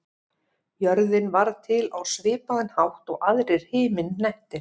Jörðin varð til á svipaðan hátt og aðrir himinhnettir.